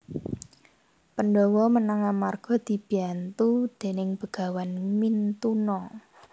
Pandhawa menang amarga dibiyantu déning Begawan Mintuna